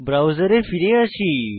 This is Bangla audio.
ব্রাউজারে ফিরে আসি